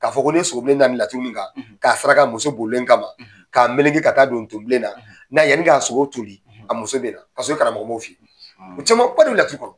K'a fɔ ko ni ye sogo bilen da ni laturu nin kan, k'a saraka muso bolilen kama k'a melege ka taa don ton bilen na n'a yanni k'a sogo toli a muso bɛ na. Ka sɔrɔ i karamɔgɔ m'o f'i ye, o caman ba de bɛ laturu kɔnɔ.